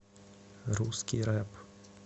русский рэп